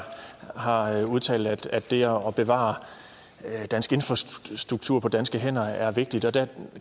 har udtalt at det at bevare dansk infrastruktur på danske hænder er vigtigt og der